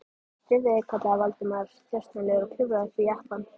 Drífðu þig- kallaði Valdimar þjösnalega og klifraði upp í jeppann.